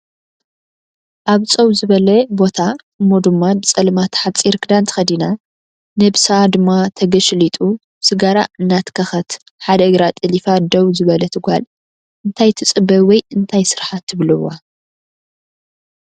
ኣብ ፀው ዝበለ ቦታ እሞ ድማ ብፀልማት ሓፂር ክዳን ተኸዲና ነብሳ ድማ ተገሽሊጡ ስጋራ እናትኸኸት ሓደ እግራ ጠሊፋ ደው ዝበለት ጓል እንታይ ትፅበ ወይ እንታይ ስራሓ ትብልዋ?